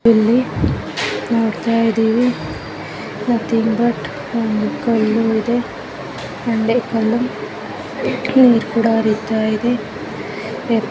ಇಲ್ಲಿ ನೋಡ್ತಾ ಇದ್ದೇವೆ ನಥಿಂಗ್ ಬಟ್ ಒಂದು ಕಲ್ಲು ಇದೆ ಬಂಡೆ ಕಲ್ಲು ನೀರು ಕೂಡ ಹರಿತಾ ಇದೆ .